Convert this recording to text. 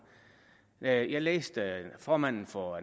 jeg jeg læste formanden for